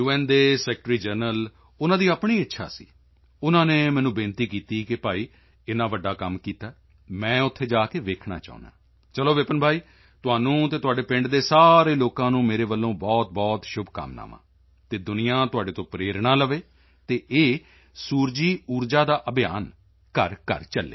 ਦੇ secretary general ਉਨ੍ਹਾਂ ਦੀ ਆਪਣੀ ਇੱਛਾ ਸੀ ਉਨ੍ਹਾਂ ਨੇ ਮੈਨੂੰ ਬੇਨਤੀ ਕੀਤੀ ਕਿ ਭਾਈ ਇੰਨਾ ਵੱਡਾ ਕੰਮ ਕੀਤਾ ਹੈ ਮੈਂ ਉੱਥੇ ਜਾ ਕੇ ਵੇਖਣਾ ਚਾਹੁੰਦਾ ਹਾਂ ਚਲੋ ਵਿਪਿਨ ਭਾਈ ਤੁਹਾਨੂੰ ਅਤੇ ਤੁਹਾਡੇ ਪਿੰਡ ਦੇ ਸਾਰੇ ਲੋਕਾਂ ਨੂੰ ਮੇਰੇ ਵੱਲੋਂ ਬਹੁਤਬਹੁਤ ਸ਼ੁਭਕਾਮਨਾਵਾਂ ਅਤੇ ਦੁਨੀਆ ਤੁਹਾਡੇ ਤੋਂ ਪ੍ਰੇਰਣਾ ਲਵੇ ਅਤੇ ਇਹ ਸੌਰ ਊਰਜਾ ਦਾ ਅਭਿਆਨ ਘਰਘਰ ਚੱਲੇ